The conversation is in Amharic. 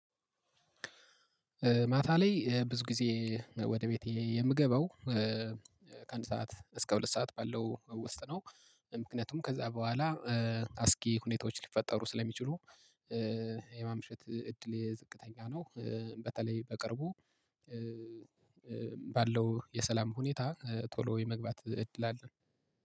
ማታ ላይ ብዙ ጊዜ ወደ ቤቴ የምገባው ከአንድ ሰዓት እስከ ሁለት ሰዓት ባለው ውስጥ ነው። ምክንያቱም ከዛ በኋላ አስጊ ሁኔታዎች ሊፈጠሩ ስለሚችሉ የማምሸት እድሌ ዝቅተኛ ነው። በተለይ በቅርቡ ባለው የሰላም ሁኔታ ቶሎ የመግባት እድል አለን።